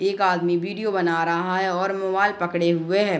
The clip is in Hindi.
एक आदमी वीडियो बना रहा है और मोबाइल पकडे हुए है ।